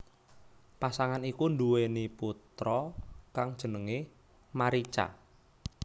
Pasangan iku nduwèni putra kang jenengé Marica